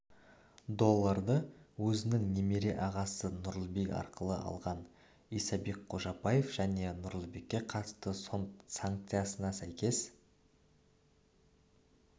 долларды өзінің немере ағасы нұрлыбек арқылы алған исабек қожабаев және нұрлыбекке қатысты сот санкциясына сәйкес